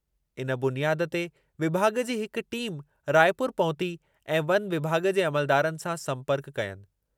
इन बुनियाद ते विभाॻ जी हिक टीम रायपुर पहुती ऐं वन विभाॻ जे अमलदारनि सां संपर्कु कयनि।